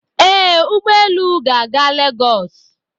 Ee, ụgbọ elu ga-aga lagos